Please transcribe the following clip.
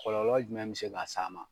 Kɔlɔlɔ jumɛn be se ka s'a ma